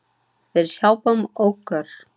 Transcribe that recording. Við hjálpum okkur.